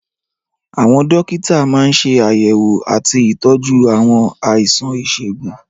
Àwọn dókítà máa ń ṣe àyẹ̀wò àti ìtọ́jú àwọn àìsàn ìṣègùn.